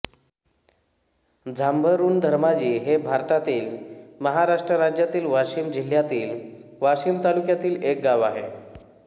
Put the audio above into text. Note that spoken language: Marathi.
जांभरुणधर्माजी हे भारतातील महाराष्ट्र राज्यातील वाशिम जिल्ह्यातील वाशीम तालुक्यातील एक गाव आहे